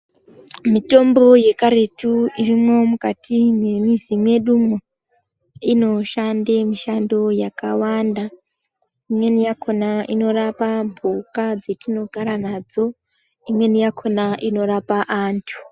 Mitombo yekaretu irimwo mukati mwemuzi mwedumwo inoshande mushando yakawanda imweni yakona inorape mhuka dzetinogara nadzo imweni yakona inorapa antu.